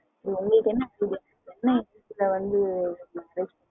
உங்களுக்கு என்ன